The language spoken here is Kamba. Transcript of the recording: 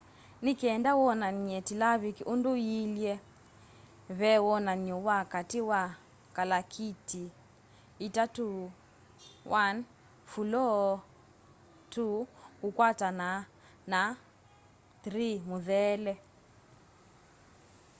ni kenda wonany'e tilaviki undu yiilye ve wonany'o wa kati wa kalakita itatu: 1 fuloo 2 kukwatana na 3 mutheele